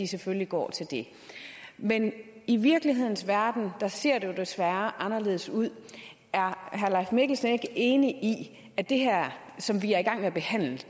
selvfølgelig går til det men i virkelighedens verden ser det jo desværre anderledes ud er herre leif mikkelsen ikke enig i at det som vi er i gang med at behandle her